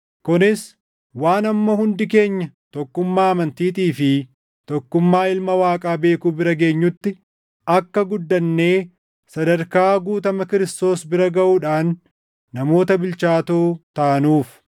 kunis waan hamma hundi keenya tokkummaa amantiitii fi tokkummaa Ilma Waaqaa beekuu bira geenyutti, akka guddannee sadarkaa guutama Kiristoos bira gaʼuudhaan namoota bilchaatoo taanuuf.